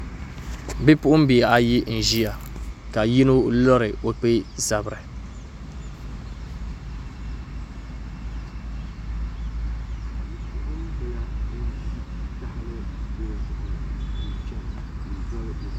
Bipuɣunbihi ayi n ʒiya ka yino lori o kpee zabiri